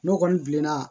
N'o kɔni bilenna